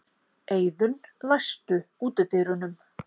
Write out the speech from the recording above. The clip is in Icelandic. Eiðunn, læstu útidyrunum.